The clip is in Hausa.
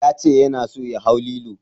Ya ce yana so ya hau lilo.